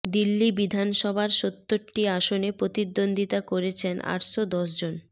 দিল্লি বিধানসভার সত্তরটি আসনে প্রতিদ্বন্দ্বিতা করছেন আটশো দশ জন